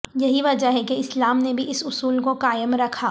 یہی وجہ ہے کہ اسلام نے بھی اس اصول کو قائم رکھا